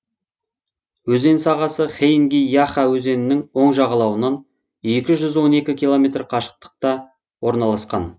өзен сағасы хейги яха өзенінің оң жағалауынан екі жүз он екі километр қашықтықта орналасқан